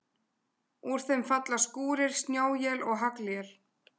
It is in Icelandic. Úr þeim falla skúrir, snjóél eða haglél.